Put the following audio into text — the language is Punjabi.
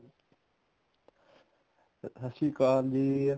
ਸਤਿ ਸ਼੍ਰੀ ਅਕਾਲ ਜੀ